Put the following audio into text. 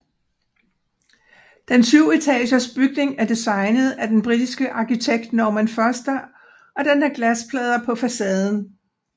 Den syvetagers bygning er designet af den britiske arkitekt Norman Foster og den har glasplader på facaden